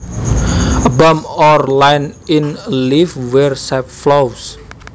A bump or line in a leaf where sap flows